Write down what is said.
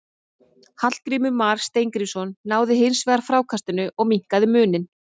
Hallgrímur Mar Steingrímsson náði hins vegar frákastinu og minnkaði muninn.